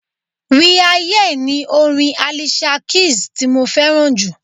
We are here' ni orin Alicia Keys ti mo fẹ́ràn jù.